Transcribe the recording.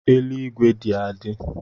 Eluigwe dị adị